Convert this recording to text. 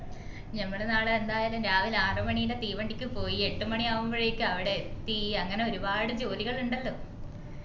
ഞമ്മള് നാളെ എന്തായാലും രാവിലെ ആറ് മണീന്റെ തീവണ്ടിക്ക് പോയി എട്ടു മണി ആവുമ്പോളേക്ക് അവിടെ എത്തി അങ്ങനെ ഒരുപാട് ജോലികൾ ഇണ്ടല്ലോ